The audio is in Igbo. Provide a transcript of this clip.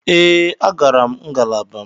Ee, agara m ngalaba m.